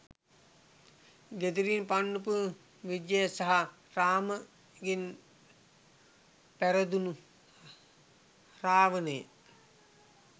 ගෙදරින් පන්නපු විජය සහ රාමගෙන් පැරදුනු රවණය